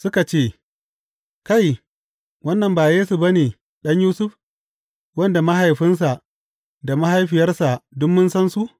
Suka ce, Kai, wannan ba Yesu ba ne, ɗan Yusuf, wanda mahaifinsa da mahaifiyarsa duk mun san su?